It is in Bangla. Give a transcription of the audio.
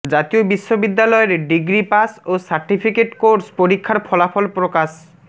জাতীয় বিশ্ববিদ্যালয়ের ডিগ্রি পাস ও সার্টিফিকেট কোর্স পরীক্ষার ফলাফল প্রকাশ